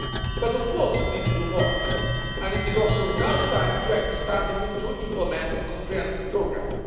But, of course, we need to do more and it is now also time to act decisively to implement a comprehensive programme.